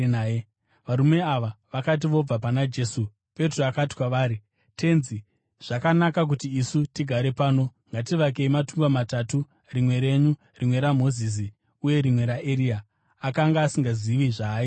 Varume ava vakati vobva pana Jesu, Petro akati kwaari, “Tenzi, zvakanaka kuti isu tigare pano. Ngativakei matumba matatu, rimwe renyu, rimwe raMozisi uye rimwe raEria.” Akanga asingazivi zvaaireva.